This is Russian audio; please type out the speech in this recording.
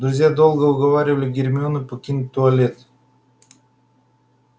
друзья долго уговаривали гермиону покинуть туалет